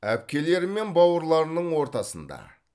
әпкелері мен бауырларының ортасында